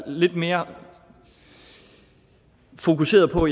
lidt mere fokuseret på